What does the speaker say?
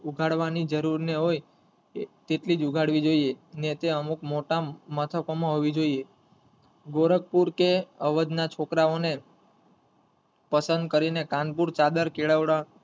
ઉઘાડવાની જરૂર ને હોય તેટલી જ ઉઘાડવી જોયે નીચે અમુક મોટા મથકોમાં હોવી જોઈએ ગોરખપુર કે અવધના છોકરાઓને પસંદ કરીને કાનપુર ચાદર કેળવવા,